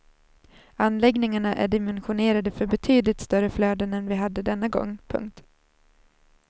Anläggningarna är dimensionerade för betydligt större flöden än vi hade denna gång. punkt